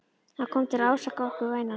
Hann kom til að ásaka okkur, vænan.